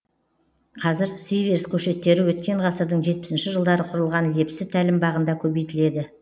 қазір сиверс көшеттері өткен ғасырдың жетпісінші жылдары құрылған лепсі тәлімбағында көбейтіледі